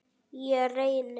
Ég reyni.